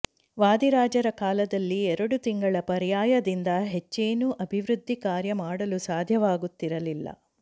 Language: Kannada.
ವಾದಿರಾಜರ ಕಾಲದಲ್ಲಿ ಎರಡು ತಿಂಗಳ ಪರ್ಯಾಯದಿಂದ ಹೆಚ್ಚೇನೂ ಅಭಿವೃದ್ಧಿ ಕಾರ್ಯ ಮಾಡಲು ಸಾಧ್ಯವಾಗುತ್ತಿರಲಿಲ್ಲ